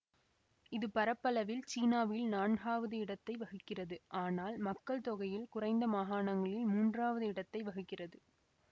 இது பரப்பளவில் சீனாவில் நான்காவது இடத்தை வகிக்கிறது ஆனால் மக்கள் தொகையில் குறைந்த மாகாணங்களில் மூன்றாவது இடத்தை வகிக்கிறது